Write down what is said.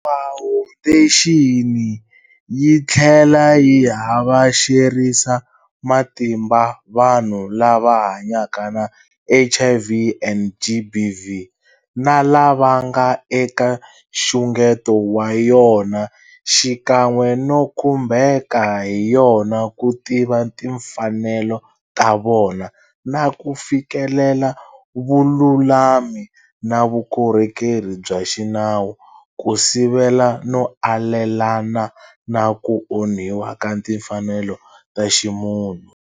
Fawundexini yi tlhela yi havexerisa matimba vanhu lava hanyaka na HIV and GBV na lava nga eka nxungeto wa yona xikan'we no khumbeka hi yona ku tiva timfanelo ta vona na ku fikelela vululami na vukorhokeri bya xinawu ku sivela no alelana na ku onhiwa ka timfanelo ta ximunhu.